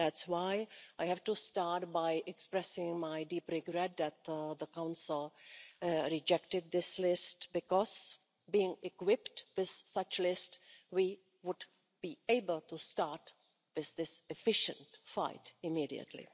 That's why I have to start by expressing my deep regret that the Council rejected this list because being equipped with such a list, we would be able to start with this efficient fight immediately.